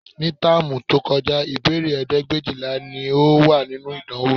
Ní táàmù tí ó kọjá, ìbéèrè ẹgbẹ̀éjìlá ni ó wà nínú ìdánwò